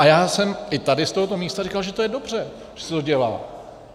A já jsem i tady z tohoto místa říkal, že je to dobře, že se to dělá.